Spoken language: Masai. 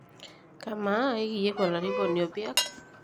Amaa ekiiyieu Olarikoni opiak?